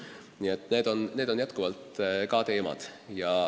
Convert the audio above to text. Nii et need on ka teemad.